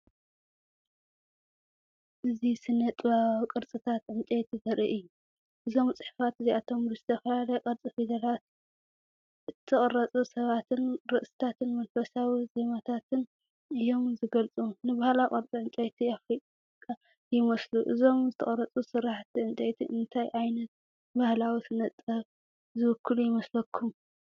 እዚ ስነ-ጥበባዊ ቅርጻታት ዕንጨይቲ ዘርኢ እዩ። እዞም ጽሑፋት እዚኣቶም፡ ብዝተፈላለየ ቅርጺ ፊደላት እተቐርጹ ሰባትን ርእስታትን መንፈሳዊ ቴማታትን እዮም ዚገልጹ። ንባህላዊ ቅርጺ ዕንጨይቲ ኣፍሪቃ ይመስሉ። እዞም ዝተቐርጹ ስርሓት ዕንጨይቲ እንታይ ዓይነት ባህላዊ ስነ-ጥበብ ዝውክሉ ይመስለኩም?